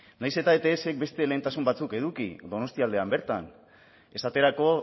nahiz eta etsk beste lehentasun batzuk eduki donostialdean bertan esaterako